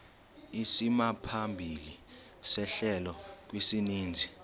isimaphambili sehlelo kwisininzi